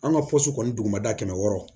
An ka pɔsi kɔni dugumada kɛmɛ wɔɔrɔ